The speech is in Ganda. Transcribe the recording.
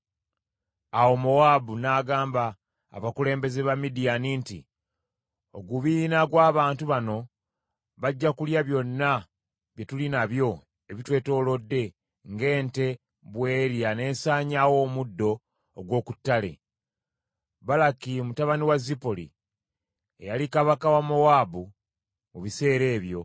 Awo Mowaabu n’agamba abakulembeze ba Midiyaani nti, “Ogubiina gw’abantu bano bajja kulya byonna bye tuli nabyo ebitwetoolodde ng’ente bw’erya n’esaanyaawo omuddo ogw’oku ttale.” Balaki mutabani wa Zipoli, eyali kabaka wa Mowaabu mu biseera ebyo,